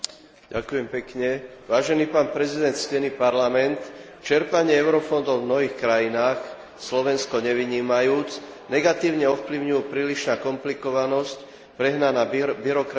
Čerpanie eurofondov v nových krajinách, Slovensko nevynímajúc, negatívne ovplyvňujú prílišná komplikovanosť, prehnaná byrokracia, nejasné pravidlá, ale aj skryté nekalé záujmy.